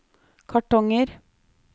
kartonger